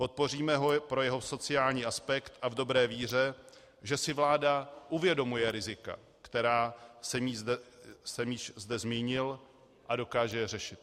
Podpoříme ho pro jeho sociální aspekt a v dobré víře, že si vláda uvědomuje rizika, která jsem již zde zmínil, a dokáže je řešit.